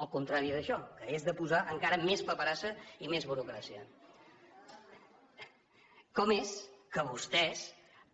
el contrari d’això que és de posar encara més paperassa i més burocràcia com és que vostès